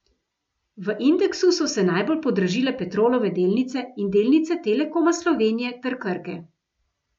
V indeksu so se najbolj podražile Petrolove delnice in delnice Telekoma Slovenije ter Krke.